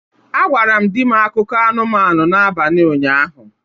A gwara m di m akụkọ anụmanụ n'abalị ụnyaahụ.